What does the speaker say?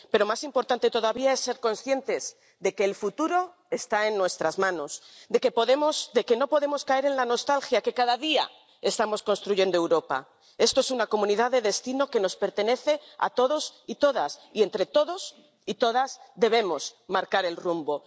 Pero más importante todavía es ser conscientes de que el futuro está en nuestras manos, de que no podemos caer en la nostalgia, de que cada día estamos construyendo Europa. Esto es una comunidad de destino que nos pertenece a todos y todas, y entre todos y todas debemos marcar el rumbo.